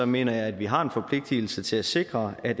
mener jeg at vi har en forpligtelse til at sikre at